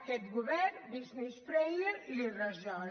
aquest govern business friendly li ho resol